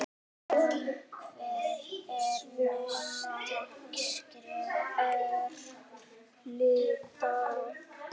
En svona er litla lífið.